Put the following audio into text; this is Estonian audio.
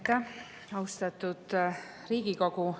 Aitäh, austatud Riigikogu!